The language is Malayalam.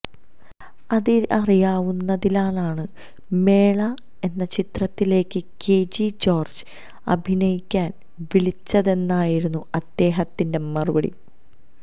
അതറിയാവുന്നതിനാലാണ് മേള എന്ന ചിത്രത്തിലേക്ക് കെജി ജോര്ജ് അഭിനയിക്കാന് വിളിച്ചതെന്നായിരുന്നു അദ്ദേഹത്തിന്റെ മറുപടി